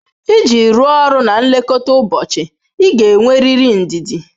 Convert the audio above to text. Iji rụọ ọrụ na nlekọta ụbọchị ị ga-enwerịrị ndidi.